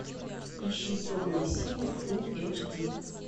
ищи темные силы фулл эйч ди